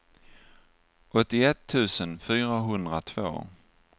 åttioett tusen fyrahundratvå